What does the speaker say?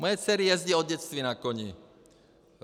Moje dcery jezdí od dětství na koni.